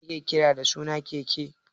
Me ne ne ake kira da suna keke?